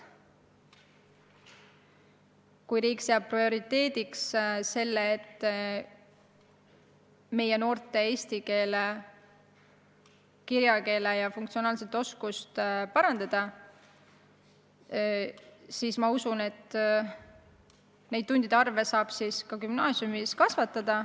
Kui aga riik seab prioriteediks selle, et meie noorte eesti keele – kirjakeele ja funktsionaalse lugemise oskust parandada, siis ma usun, et tundide arvu gümnaasiumis saab kasvatada.